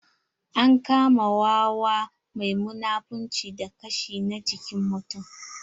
An kama wawa mai munafunci da kashi na jikin mutum.